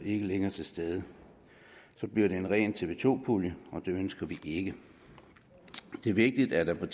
ikke længere til stede så bliver det en ren tv to pulje og det ønsker vi ikke det er vigtigt at der er